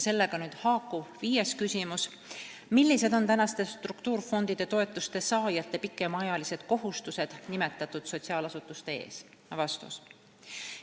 Sellega haakub viies küsimus: "Millised on tänaste struktuurifondide toetuste saajate pikemaajalised kohustused nimetatud sotsiaalasutuste ees?